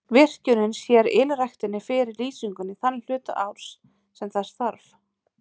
Virkjunin sér ylræktinni fyrir lýsingu þann hluta árs sem þess þarf.